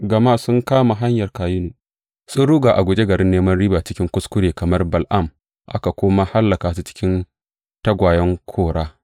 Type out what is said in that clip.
Gama sun kama hanyar Kayinu; sun ruga a guje garin neman riba cikin kuskure kamar Bala’am; aka kuma hallaka su cikin tawayen Kora.